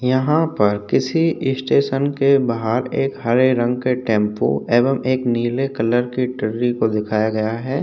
यहाँ पर किसी स्टेशन के बाहर एक हरे रंग का टेम्पो एवं एक नीले कलर के दिखाया गया है।